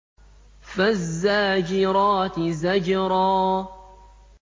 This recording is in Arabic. فَالزَّاجِرَاتِ زَجْرًا